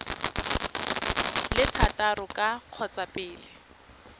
le thataro ka kgotsa pele